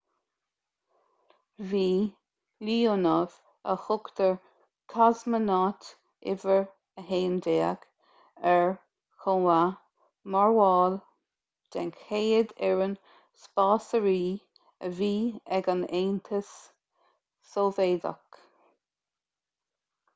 bhí leonov a thugtar cosmonaut no 11 ar chomh maith mar bhall den chéad fhoireann spásairí a bhí ag an aontas sóivéadach